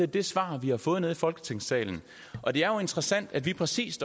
det svar vi har fået i folketingssalen og det er jo interessant at vi præcis